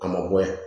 A ma bɔ yan